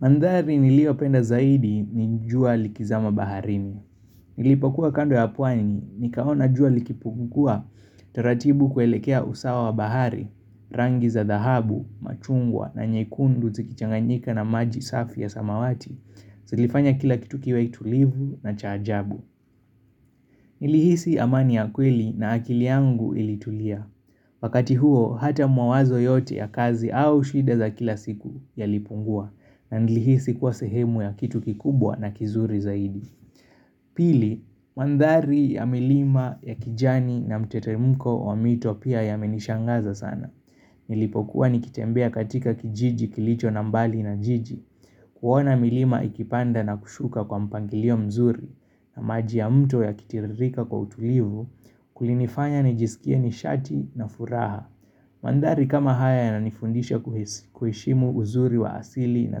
Mandhari niliyopenda zaidi ni jua likizama baharini. Nilipokuwa kando ya pwani, nikaona jua likipungua taratibu kuelekea usawa wa bahari, rangi za dhahabu, machungwa na nyekundu zikichanganyika na maji safi ya samawati. Zilifanya kila kitu kiwe tulivu na cha ajabu. Nilihisi amani ya kweli na akili yangu ilitulia. Wakati huo, hata mawazo yote ya kazi au shida za kila siku yalipungua na nilihisi kuwa sehemu ya kitu kikubwa na kizuri zaidi Pili, mandhari ya milima ya kijani na mtetemko wa mwito pia yamenishangaza sana Nilipokuwa nikitembea katika kijiji kilicho na mbali na jiji kuona milima ikipanda na kushuka kwa mpangilio mzuri na maji ya mto yakitiririka kwa utulivu Kulinifanya nijisikie nishati na furaha Mandhari kama haya yananifundisha kuheshimu uzuri wa asili na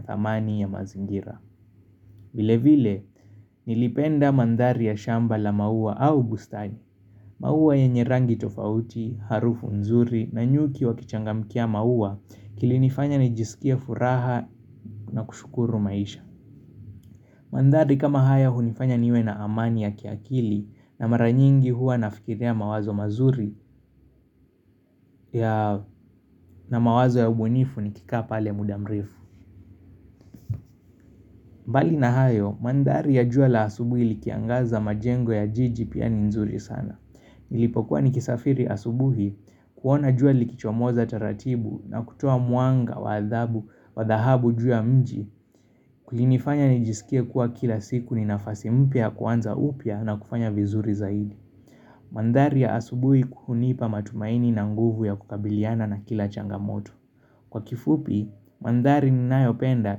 thamani ya mazingira vile vile nilipenda mandhari ya shamba la maua au bustani maua yenye rangi tofauti, harufu nzuri na nyuki wakichangamkia maua kilinifanya nijisikie furaha na kushukuru maisha Mandhari kama haya hunifanya niwe na amani ya kiakili na mara nyingi huwa nafikiria mawazo mazuri na mawazo ya ubunifu nikikaa pale muda mrefu mbali na hayo, mandhari ya jua la asubuhi likiangaza majengo ya jiji pia ni nzuri sana. Nilipokuwa nikisafiri asubuhi kuona jua likichomoza taratibu na kutoa mwanga wa adhabu wa dhahabu jua mji. Kulinifanya nijisikie kuwa kila siku ni nafasi mpya ya kuanza upya na kufanya vizuri zaidi. Mandhari ya asubuhi hunipa matumaini na nguvu ya kukabiliana na kila changamoto. Kwa kifupi, mandhari ninayopenda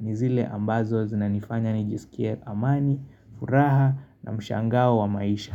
ni zile ambazo zinanifanya nijisikie amani, furaha na mshangao wa maisha.